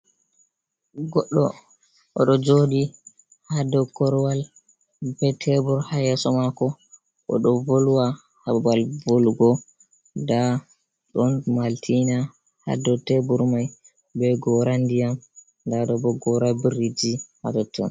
Goɗɗo oɗo joɗi ha dow korwal be tebur ha yeso mako, oɗo volwa ha babal volugo, nda ɗon maltina ha dow tebor mai, be gora ndiyam nda ɗo bo gora biriji ha totton.